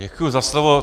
Děkuji za slovo.